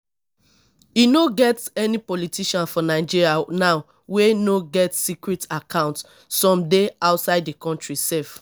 e no get any politician for nigeria now wey no get secret account some dey outside the country sef